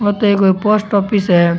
आ तो कोई एक पोस्ट ऑफिस है।